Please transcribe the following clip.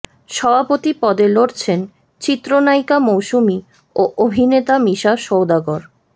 সভাপতি পদে লড়ছেন চিত্রনায়িকা মৌসুমী ও অভিনেতা মিশা সওদাগর